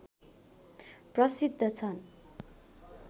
प्रसिद्ध छन्